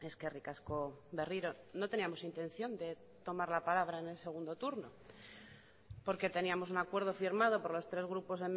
eskerrik asko berriro no teníamos intención de tomar la palabra en el segundo turno porque teníamos un acuerdo firmado por los tres grupos